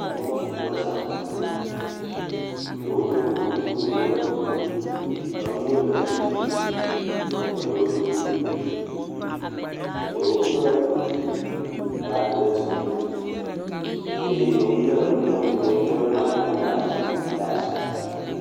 Amewo sugbɔ zã, ɖewo ɖo kuku ɖewo meɖo kuku o, nyɔnuwo le eme, ŋutsuwo hã le wo domii, ɖewo kpla bagi ɖe dzime eye wolé mɔ yi ke wokɔ léna nuwo ɖe agbadzi ɖe asi.